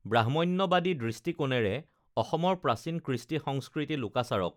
ব্ৰাহ্ম্যণ্যবাদী দৃষ্টিকোণেৰে অসমৰ প্ৰাচীন কৃষ্টি সংস্কৃতি লোকাচাৰক